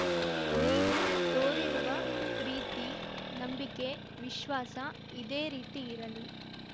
ನೀವು ತೋರಿರುವ ಪ್ರೀತಿ ನಂಬಿಕೆ ವಿಶ್ವಾಸ ಇದೇ ರೀತಿ ಇರಲಿ